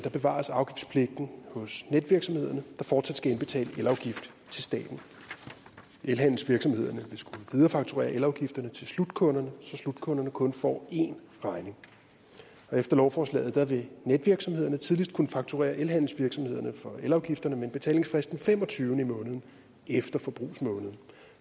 bevares afgiftspligten hos netvirksomhederne der fortsat skal indbetale elafgift til staten elhandelsvirksomhederne vil skulle viderefakturere elafgifterne til slutkunderne så slutkunderne kun får én regning efter lovforslaget vil netvirksomhederne tidligst kunne fakturere elhandelsvirksomhederne for elafgifterne med en betalingsfrist den femogtyvende i måneden efter forbrugsmåneden